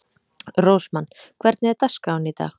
Rósmann, hvernig er dagskráin í dag?